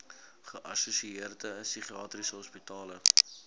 geassosieerde psigiatriese hospitale